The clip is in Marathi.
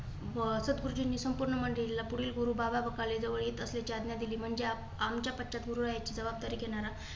अं सदगुरुजींनी संपूर्ण मंदिराला गुरु बाबा बकाले जवळ येत असल्याची आज्ञा दिली. आमच्या पश्यात गुरुची जबाबदारी घेणारा